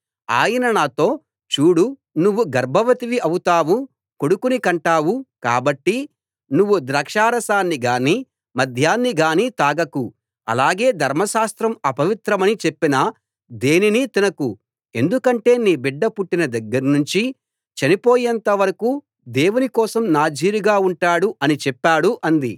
ఆయన నాతో చూడు నువ్వు గర్భవతివి అవుతావు కొడుకుని కంటావు కాబట్టి నువ్వు ద్రాక్షారసాన్ని గానీ మద్యాన్ని గానీ తాగకు అలాగే ధర్మశాస్త్రం అపవిత్రమని చెప్పిన దేనినీ తినకు ఎందుకంటే నీ బిడ్డ పుట్టిన దగ్గర్నుంచి చనిపోయేంత వరకూ దేవుని కోసం నాజీర్ గా ఉంటాడు అని చెప్పాడు అంది